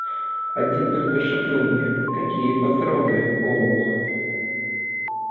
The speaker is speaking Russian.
один только шепнул мне какие патроны олух